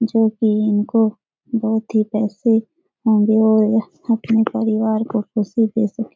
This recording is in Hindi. जो की इनको बहोत ही पैसे होंगे और यह अपने परिवार को खुशी दे सकें।